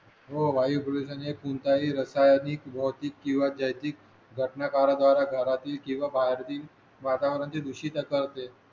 हो वायू प्रदूषण हे कोणताही रासायनिक भौतिक किंवा जैतिक घटकांद्वारा घरातील किंवा बाहेरील वातावरणाची दुषित होते